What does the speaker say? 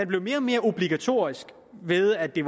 blev mere og mere obligatorisk ved at det